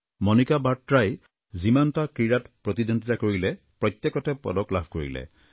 মণিকা বাট্ৰাই যিমানটা ক্ৰীড়াত প্ৰতিদ্বন্ধিতা কৰিলে প্ৰত্যেকতে পদক লাভ কৰিলে